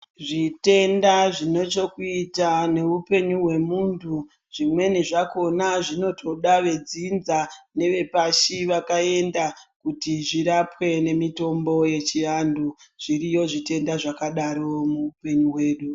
Zvitenda zvinochokuita nehupenyu hwemuntu, zvimweni zvakhona zvinotoda vedzinza nevepashi vakaenda, kuti zvirapwe nemitombo yechiantu. Zviriyo zvitenda zvakadaro muhupenyu hwedu.